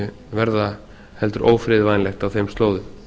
verða heldur ófriðvænlegt á þeim slóðum